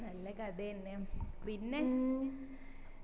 നല്ല കഥ അന്നെ ആന്ന് പിന്നെ